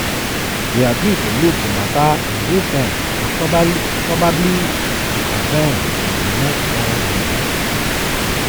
we agree to look di mata in real terms and probably reconvene in di next one week.